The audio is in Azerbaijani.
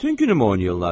Bütün günü oynayırlar?